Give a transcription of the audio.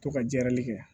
To ka jiyanli kɛ